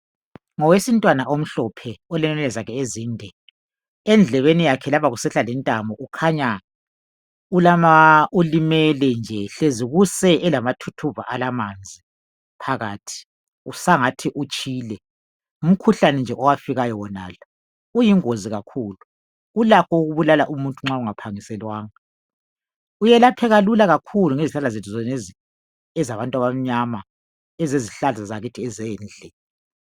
Ngowesintwana omhlophe olenwele zakhe ezinde endlebeni yakhe lapha usehla lentamo ukhanya ulimele nje hlezi kuse elamathuthuva alamanzi phakathi kusangathi utshile ngumkhuhlane nje owafikayo wonalo uyingozi kakhulu ulakho ukubulala umuntu nxa ungaphangiselwanga uyelapheka lula kakhulu ngezihlahla zonezi ezabantu abamnyama ezezihlahla zakithi ezendle.